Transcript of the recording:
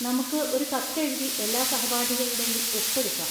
നമുക്ക് ഒരു കത്ത് എഴുതി എല്ലാ സഹപാഠികളുടെയും ഒപ്പ് എടുക്കാം.